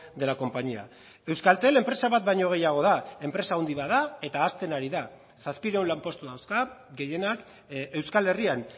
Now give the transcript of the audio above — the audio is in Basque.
de la compañía euskaltel enpresa bat baino gehiago da enpresa handi bat da eta hazten ari da zazpiehun lanpostu dauzka gehienak euskal herrian